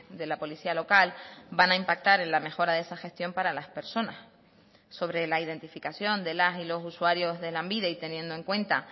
de la policía local van a impactar en la mejora de esa gestión para las personas sobre la identificación de las y los usuarios de lanbide y teniendo en cuenta